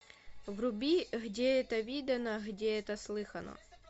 вруби где это видано где это слыхано